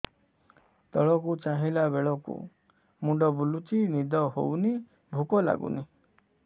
ତଳକୁ ଚାହିଁଲା ବେଳକୁ ମୁଣ୍ଡ ବୁଲୁଚି ନିଦ ହଉନି ଭୁକ ଲାଗୁନି